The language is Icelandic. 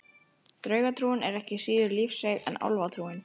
Draugatrúin er ekki síður lífseig en álfatrúin.